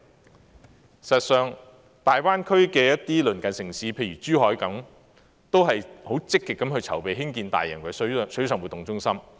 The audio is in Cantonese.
事實上，大灣區的一些鄰近城市，譬如珠海，也十分積極籌備興建大型水上活動中心。